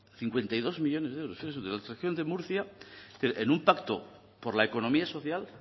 fíjese usted en la región de murcia es decir en un pacto por la economía social